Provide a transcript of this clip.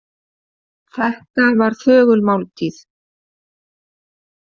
Þetta var þögul máltíð.